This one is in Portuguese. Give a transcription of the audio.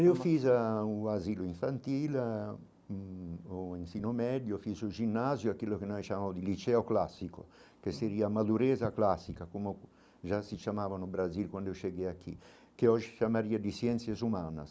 Eu fiz a o asilo infantil, ãh hum o ensino médio, fiz o ginásio, aquilo que nós chamamos de liceo clássico, que seria a malureza clássica, como já se chamavam no Brasil quando eu cheguei aqui, que hoje chamaria de ciências humanas.